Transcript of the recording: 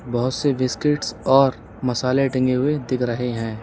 बहोत से बिस्किट्स और मसाले टंगे हुए दिख रहे हैं।